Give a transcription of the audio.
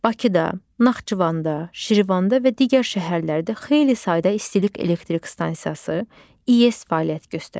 Bakıda, Naxçıvanda, Şirvanda və digər şəhərlərdə xeyli sayda istilik elektrik stansiyası, İES fəaliyyət göstərir.